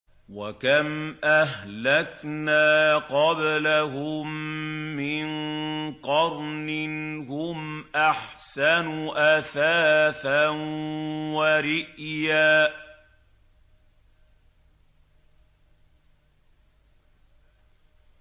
وَكَمْ أَهْلَكْنَا قَبْلَهُم مِّن قَرْنٍ هُمْ أَحْسَنُ أَثَاثًا وَرِئْيًا